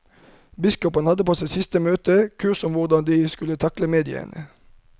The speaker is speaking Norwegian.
Biskopene hadde på sitt siste møte kurs om hvordan de skulle takle mediene.